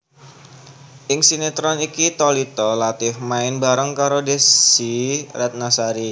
Ing sinétron iki Thalita Latief main bareng karo Desy Ratnasari